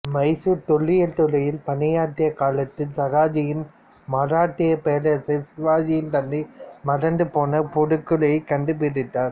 மைசூர் தொல்ல்லியல் துறையில் பணியாற்றிய காலத்தில் சாகாஜியின் மராட்டியப் பேரரசர் சிவாஜியின் தந்தை மறந்துபோன புதைகுழியைக் கண்டுபிடித்தார்